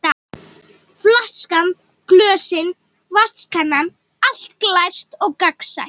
Flaskan, glösin og vatnskannan, allt glært og gagnsætt.